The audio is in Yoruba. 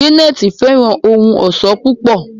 Janet fẹràn ohùn ọṣọ púpọ.